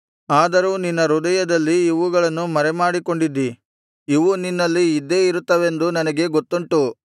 ಆದರೂ ನಿನ್ನ ಹೃದಯದಲ್ಲಿ ಇವುಗಳನ್ನು ಮರೆಮಾಡಿಕೊಂಡಿದ್ದಿ ಇವು ನಿನ್ನಲ್ಲಿ ಇದ್ದೇ ಇರುತ್ತವೆಂದು ನನಗೆ ಗೊತ್ತುಂಟು